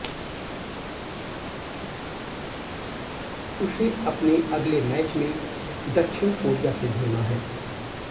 उसे अपने अगले मैच में दक्षिण कोरिया से भिड़ना है